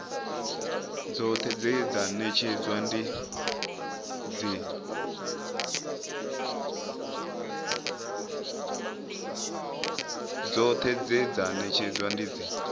dzoṱhe dze dza ṅetshedzwa dzi